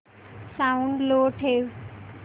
sound low ठेव